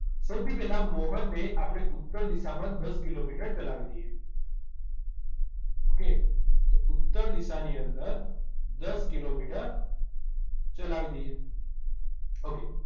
સૌથી પહેલા મોહનને આપણે ઉત્તર દિશામાં દસ કિલોમીટર ચલાવી દઈએ okay તો ઉત્તર દિશાની અંદર દસ કિલોમીટર ચલાવી દઈએ okay